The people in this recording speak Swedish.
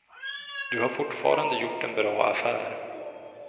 Du har fortfarande gjort en bra affär.